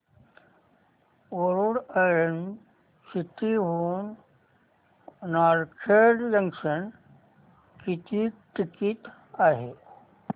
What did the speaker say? Warud orange city हून Narkhed junction किती ticket आहे